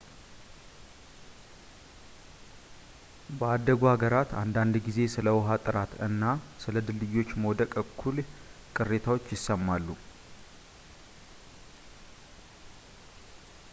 በአደጉ ሀገራት አንዳንድ ጊዜ ስለ ውሃ ጥራት እና ስለ ድልድዮች መውደቅ እኩል ቅሬታዎች ይሰማሉ